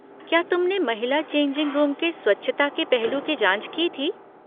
क्या तुमने महिला चेंजिंग रूम के स्वच्छता के पहलू की जाँच की थी?